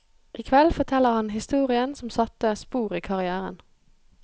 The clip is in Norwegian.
I kveld forteller han historien som satte spor i karrièren.